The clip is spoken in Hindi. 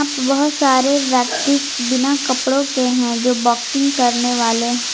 यहां पे बहोत सारे व्यक्ति बिना कपड़ों के हैं जो बॉक्सिंग करने वाले--